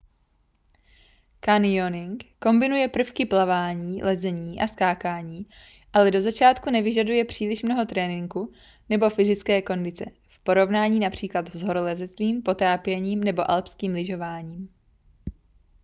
canyoning kombinuje prvky plavání lezení a skákání ale do začátku nevyžaduje příliš mnoho tréninku nebo fyzické kondice v porovnání například s horolezectvím potápěním nebo alpským lyžováním